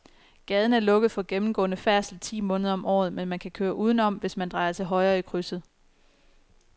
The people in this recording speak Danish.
Gaden er lukket for gennemgående færdsel ti måneder om året, men man kan køre udenom, hvis man drejer til højre i krydset.